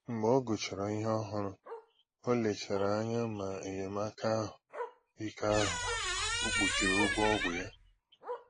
Mgbe ọ gụchàrà ihe òhùrù, ọ lechàrà anya ma enyémàkà ahụ́ ike ahụ o kpuchiri ụgwọ ọgwụ ya